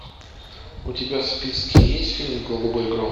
у тебя в списке есть фильм голубой гром